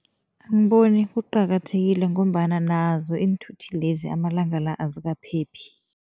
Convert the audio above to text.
Angiboni kuqakathekile ngombana nazo iinthuthi lezi, amalanga la azikaphephi.